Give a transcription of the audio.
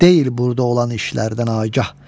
Deyir burda olan işlərdən Agah.